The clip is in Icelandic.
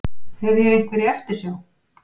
Hef ég einhverja eftirsjá?